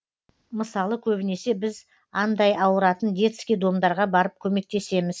мысалы көбінесе біз андай ауыратын детский домдарға барып көмектесеміз